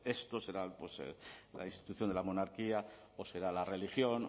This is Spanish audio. esto será la institución de la monarquía o será la religión